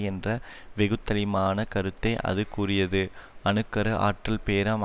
என்ற வெகுத்தளிமான கருத்தை அது கூறியது அணு கரு ஆற்றல் பேரம்